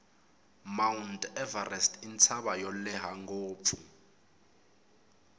mount everest intsava yolehha ngopfu